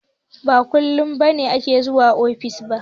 Ba kullum Balki take zuwa ofis ba.